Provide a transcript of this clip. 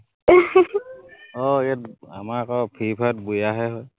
আহ ইয়াত আমাৰ আক free fire ত বৈয়া হে হয়।